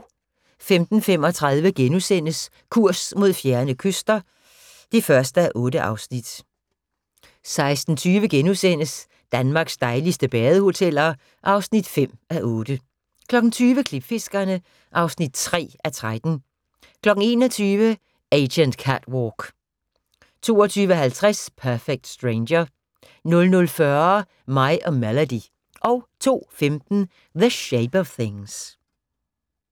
15:35: Kurs mod fjerne kyster (1:8)* 16:20: Danmarks dejligste badehoteller (5:8)* 20:00: Klipfiskerne (3:13) 21:00: Agent Catwalk 22:50: Perfect Stranger 00:40: Mig og Melody 02:15: The Shape of Things